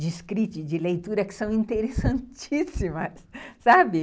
de escrita e de leitura que são interessantíssimas, sabe?